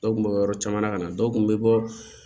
Dɔw kun bɛ bɔ yɔrɔ caman ka na dɔw kun bɛ bɔ